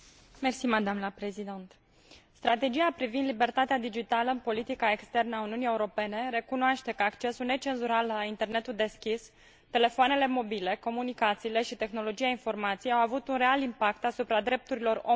Strategia privind libertatea digitală în politica externă a Uniunii Europene recunoaște că accesul necenzurat la internetul deschis, telefoanele mobile, comunicațiile și tehnologia informației au avut un real impact asupra drepturilor omului și libertăților fundamentale.